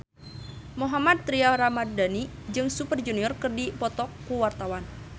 Mohammad Tria Ramadhani jeung Super Junior keur dipoto ku wartawan